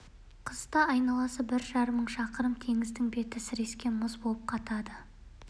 балықшылар сол мұзды әр жерінен апандай-апандай ойық жасап сол ойықтың бірінен түсірген ауды екіншісінен түйе шығырмен тартып алады